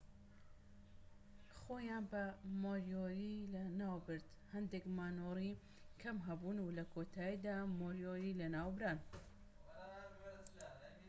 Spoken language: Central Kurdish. خۆیان بە مۆریۆری ناوبرد هەندێک مانۆڕی کەم هەبوون و لە کۆتاییدا مۆریۆری لە ناوبران